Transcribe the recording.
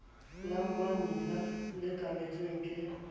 la mammila le okametsweng ke